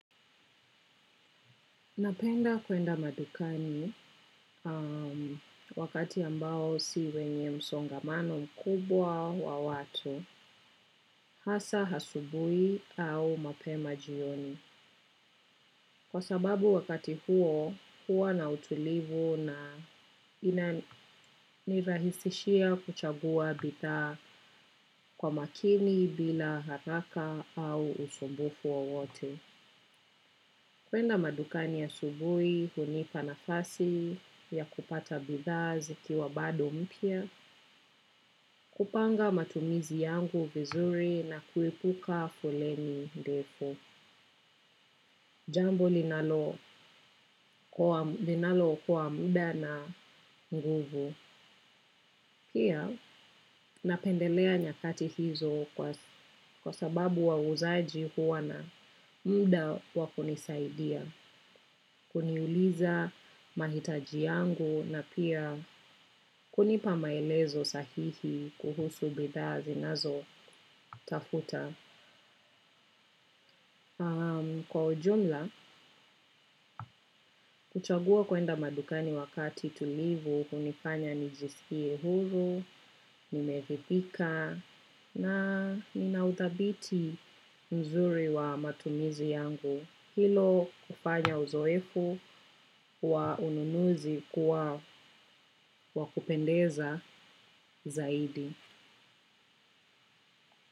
Napenda kuenda madukani wakati ambao si wenye msongamano mkubwa wa watu, hasa asubuhi au mapema jioni. Kwa sababu wakati huo, huwa na utulivu na inanirahisishia kuchagua bidhaa kwa makini bila haraka au usumbufu wowote. Kwenda madukani asubuhi hunipa nafasi ya kupata bidhaa zikiwa bado mpya, kupanga matumizi yangu vizuri na kuepuka foleni ndefu. Jambo linalo okoa muda na nguvu. Pia napendelea nyakati hizo kwa sababu wauzaji huwa na muda wa kunisaidia. Kuniuliza mahitaji yangu na pia kunipa maelezo sahihi kuhusu bidhaa zinazotafuta. Kwa ujumla, kuchagua kwenda madukani wakati tulivu, hunifanya nijisikie huru, nimevipika na vina uthabiti mzuri wa matumizi yangu. Hilo kufanya uzoefu wa ununuzi kuwa wakupendeza zaidi.